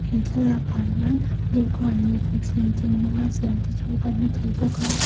he thlalakah hian dawhkan leh thuthleng thing hmanga siam te chu kan hmu thei bawk a.